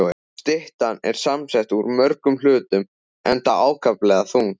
Styttan er samsett úr mörgum hlutum, enda ákaflega þung.